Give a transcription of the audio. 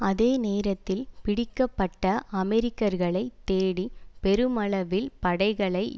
அதே நேரத்தில் பிடிக்க பட்ட அமெரிக்கர்களைத் தேடி பெருமளவில் படைகளை